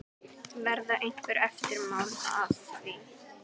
Verða einhver eftirmál að því?